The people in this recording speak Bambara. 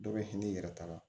Dɔ bɛ hinɛ n'i yɛrɛ t'a la